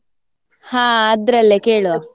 ಹಾ ಅದ್ರಲ್ಲೇ ಕೇಳುವ.